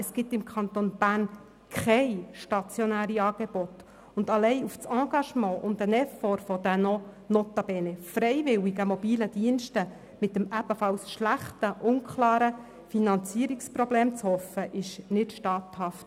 Es gibt im Kanton Bern keine stationären Angebote, und allein auf das Engagement und den Effort der noch notabene freiwilligen mobilen Dienste mit dem ebenfalls schlechten und unklaren Finanzierungsproblem zu hoffen, ist nicht statthaft.